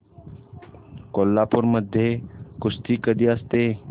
कोल्हापूर मध्ये कुस्ती कधी असते